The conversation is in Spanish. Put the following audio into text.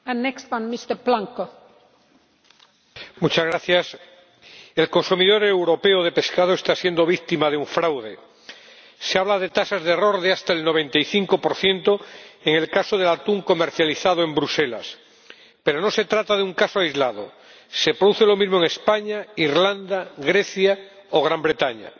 Señora Presidenta, el consumidor europeo de pescado está siendo víctima de un fraude. Se habla de tasas de error de hasta el 95 en el caso del atún comercializado en Bruselas, pero no se trata de un caso aislado se produce lo mismo en España, Irlanda, Grecia o Gran Bretaña.